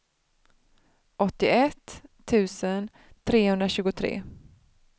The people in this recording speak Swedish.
åttioett tusen trehundratjugotre